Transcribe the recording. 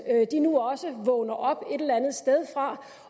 nu også vågner op et eller andet sted fra